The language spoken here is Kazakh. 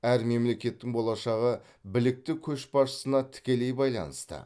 әр мемлекеттің болашағы білікті көшбасшысына тікелей байланысты